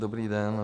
Dobrý den.